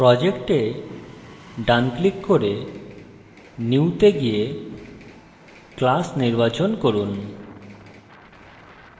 project এ ডান click করে new তে গিয়ে class নির্বাচন করুন